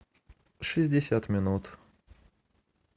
шестьдесят минут